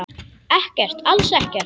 Ekkert, alls ekkert.